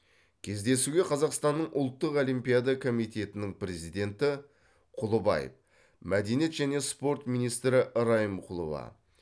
кездесуге қазақстанның ұлттық олимпиада комитетінің президенті құлыбаев мәдениет және спорт министрі райымқұлова